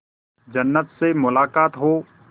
जन्नत से मुलाकात हो